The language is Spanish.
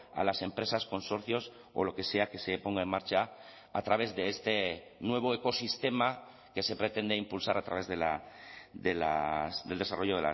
a las empresas consorcios o lo que sea que se ponga en marcha a través de este nuevo ecosistema que se pretende impulsar a través del desarrollo